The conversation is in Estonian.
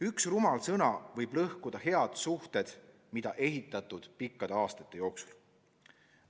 Üks rumal sõna võib lõhkuda head suhted, mida on ehitatud pikkade aastate jooksul.